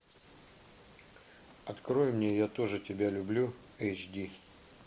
открой мне я тоже тебя люблю эйч ди